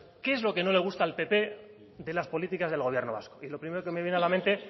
qué es lo que no le gusta al pp de las políticas del gobierno vasco y lo primero que me viene a la mente